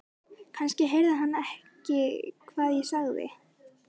Kannski heyrði hann ekki hvað ég sagði.